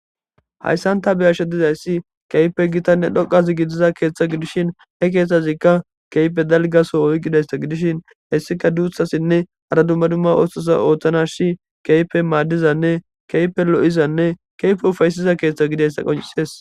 hayssanta beyashe dizayssi keype gitanne dhoqazi gidiza keeththa gidishin he keeththazikka keype dalgaso oyqidaysta gidishin hessika duuthasinne hara dumma dumma oohthasa ooththana shi keype maaddizane keype lo7izanne keyfe ufaysiza keeththa gideyssa qonciees